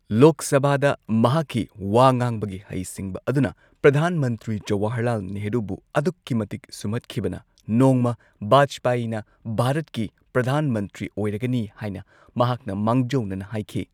ꯂꯣꯛ ꯁꯚꯥꯗ ꯃꯍꯥꯛꯀꯤ ꯋꯥ ꯉꯥꯡꯕꯒꯤ ꯍꯩꯁꯤꯡꯕ ꯑꯗꯨꯅ ꯄ꯭ꯔꯙꯥꯟ ꯃꯟꯇ꯭ꯔꯤ ꯖꯋꯥꯍꯔꯂꯥꯜ ꯅꯦꯍꯔꯨꯕꯨ ꯑꯗꯨꯛꯀꯤ ꯃꯇꯤꯛ ꯁꯨꯝꯍꯠꯈꯤꯕꯅ ꯅꯣꯡꯃ ꯚꯥꯖꯄꯥꯌꯤꯅ ꯚꯥꯔꯠꯀꯤ ꯄ꯭ꯔꯙꯥꯟ ꯃꯟꯇ꯭ꯔꯤ ꯑꯣꯏꯔꯒꯅꯤ ꯍꯥꯏꯅ ꯃꯍꯥꯛꯅ ꯃꯥꯡꯖꯧꯅꯅ ꯍꯥꯏꯈꯤ꯫